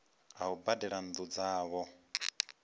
a u badela nnu dzavho